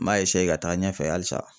M'a ka taa ɲɛfɛ halisa.